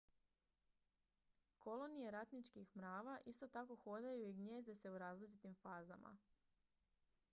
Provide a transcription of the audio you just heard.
kolonije ratničkih mrava isto tako hodaju i gnijezde se u različitim fazama